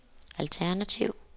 alternativ